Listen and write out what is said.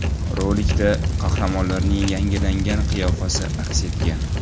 Rolikda qahramonlarning yangilangan qiyofasi aks etgan.